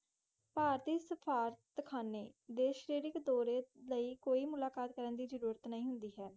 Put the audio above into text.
party ਸਟਾਥ ਖਾਣਾ ਦੇਸ਼ੇਟੀਕ ਦੌਰੇ ਦੀ ਕੋਈ ਮੂਲ ਕਟ ਕਰਨ ਦੇ ਲੋੜ ਨਹੀਂ ਹੈ